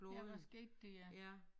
Ja hvad skete der ja